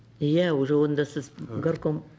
иә уже онда сіз горком